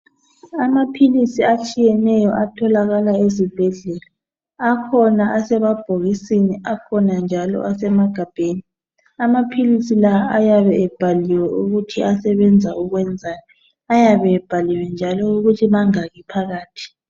Amaphilisi atshiyeneyo atholakala ezibhedlela, akhona asemabhokisini, akhona njalo asemagabheni. Amaphilisi la ayabe ebhaliwe ukuthi asebenza ukwenzani. Ayabe ebhaliwe njalo ukuthi mangaki phakathi.